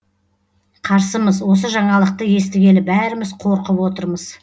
қарсымыз осы жаңалықты естігелі бәріміз қорқып отырмыз